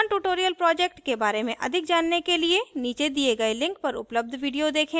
spoken tutorial project के बारे में अधिक जानने के लिए नीचे दिए गए link पर उपलब्ध video देखें